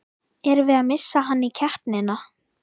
Erum við að missa hann í keppnina?